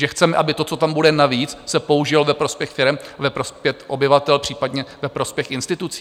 Že chceme, aby to, co tam bude navíc, se použilo ve prospěch firem, ve prospěch obyvatel, případně ve prospěch institucí?